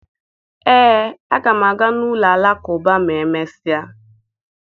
Ee, aga m aga n'ụlọ Alakụba ma e mesịa